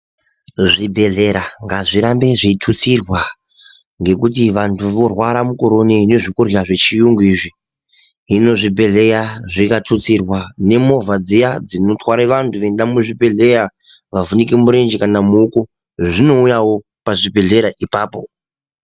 Zvibhedhlera ngazvirambe zveitutsirwa ngekuti vantu vorwara mukore inoyi ngezvekurya zvecgirungu izvi hino zvibhedhleya zvikatutsirwa nemovha dziya dzinotware vanhu vona muzvibhedhleya vavhunike murenje kana muoko dzinouyawo apapo.